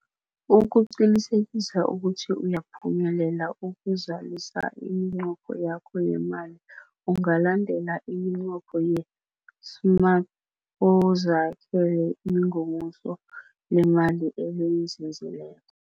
Ukuqinisekisa ukuthi uyaphumelela ukuzalisa iminqopho yakho yeemali, ungalandela iminqopho ye-SMART uzakhele ingomuso leemali elinzinzileko.